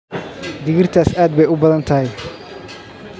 digirtaas aad bay u badan tahay